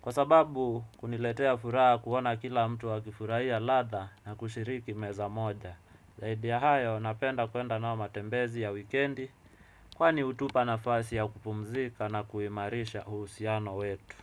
kwa sababu kuniletea furaha kuona kila mtu akifurahia latha na kushiriki meza moja. Zaidi ya hayo napenda kuenda nao matembezi ya wikendi, kwani hutupa nafasi ya kupumzika na kuimarisha uhusiano wetu.